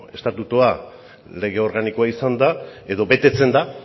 estatutua lege organikoa izanda edo betetzen da